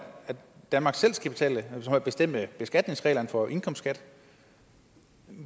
danmark selv skal bestemme beskatningsreglerne for indkomst